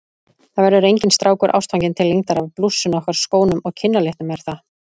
Það verður enginn strákur ástfanginn til lengdar af blússunni okkar, skónum og kinnalitnum, er það?